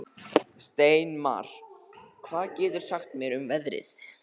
Steinmar, hvað geturðu sagt mér um veðrið?